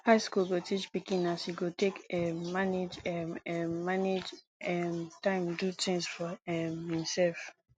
high school go teach pikin as e go take um manage um um manage um time do things for um himself